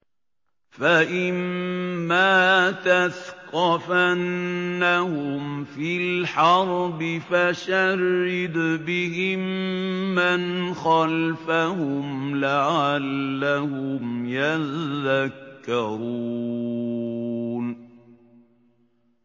فَإِمَّا تَثْقَفَنَّهُمْ فِي الْحَرْبِ فَشَرِّدْ بِهِم مَّنْ خَلْفَهُمْ لَعَلَّهُمْ يَذَّكَّرُونَ